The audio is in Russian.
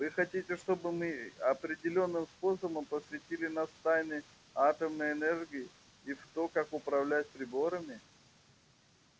вы хотите чтобы мы определённым способом посвятили нас в тайны атомной энергии и в то как управлять приборами